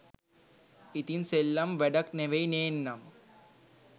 ඉතින් සෙල්ලම් වැඩක් නෙවෙයි නේන්නම්.